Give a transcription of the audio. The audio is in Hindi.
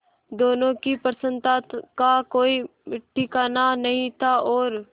दोनों की प्रसन्नता का कोई ठिकाना नहीं था और